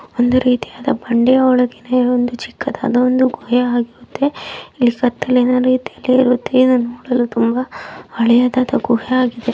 ಅಂದರೆ ಇದು ಯಾವುದೊ ಬಂಡೆಯ ಒಳಗೆ ಒಂದು ಚಿಕ್ಕಾದಾದ ಒಂದು ಗುಹೆ ಆಗಿರುತ್ತೆ ಇದು ಹಳೇದಾದ ಗುಹೆ ಆಗಿದೆ .